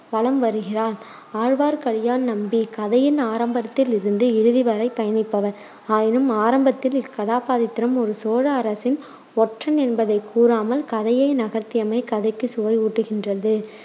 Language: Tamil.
வலம் வருகிறாள். ஆழ்வார்க்கடியான் நம்பி கதையின் ஆரம்பத்தில் இருந்து இறுதிவரை பயணிப்பவர். ஆயினும் ஆரம்பத்தில் இக்கதாபாத்திரம் ஒரு சோழ அரசின் ஒற்றன் என்பதை கூறாமல் கதையை நகர்த்தியமை கதைக்கு சுவை ஊட்டுகின்றது.